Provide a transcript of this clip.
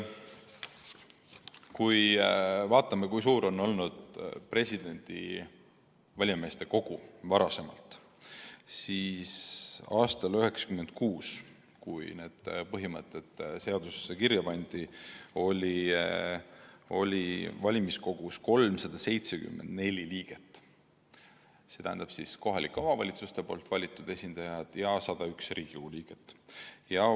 Kui vaatame, kui suur on olnud valijameeste kogu varem, siis aastal 1996, kui need põhimõtted seadusesse kirja pandi, oli valimiskogus 374 liiget: kohalike omavalitsuste valitud esindajad ja 101 Riigikogu liiget.